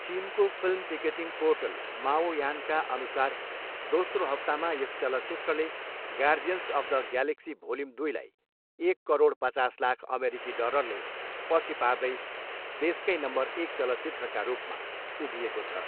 चिनको film ticketing portal माओयानका अनुसार दोस्रो हप्तामा यस चलचित्रले Guardians of the Galaxy volume, दुईलाई एक करोड पचास लाख अमेरिकी डलरले पछि पार्दै देशकै नम्बर एक चलचित्रका रूपमा उभिएको छ।